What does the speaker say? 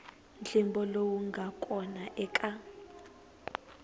ntlimbo lowu nga kona eka